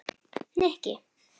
Nikki